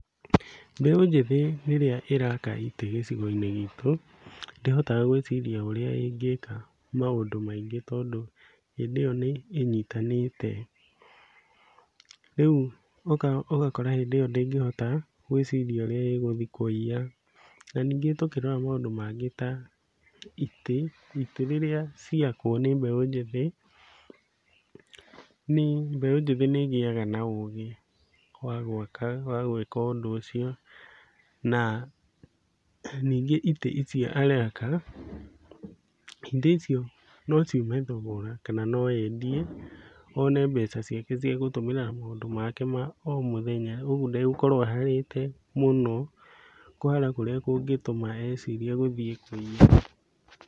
Mbeũ njĩthĩ rĩrĩa ĩraka itĩ gĩcigo-inĩ gitũ, ndĩhotaga gwĩciria ũrĩa ĩngĩka maũndũ maingĩ tondũ hĩndĩ ĩyo nĩĩnyitanĩte. Rĩu ũgakora hĩndĩ ĩyo ndĩngĩhota gwĩciria ũrĩa ĩgũthiĩ kũiya. Na ningĩ tũkĩrora maũndũ mangĩ ta itĩ, itĩ rĩrĩa ciakwo nĩ mbeũ njĩthĩ nĩ mbeũ njĩthĩ nĩĩgĩaga na ũgĩ wa gwaka wa gwĩka ũndũ ũcio na ningĩ itĩ icio araka, itĩ icio no ciume thogora kana no endie one mbeca ciake cia gũtũmĩra na maũndũ make ma o mũthenya ũguo ndegũkorwo aharĩte mũno kũhara kũrĩa kĩngĩtũma ecirie gũthiĩ kũiya.